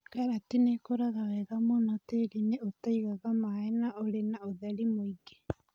Karati nĩ ikũraga wega mũno tĩri-inĩ ũta igaga maĩ na ũrĩ na ũtheri mũingĩ.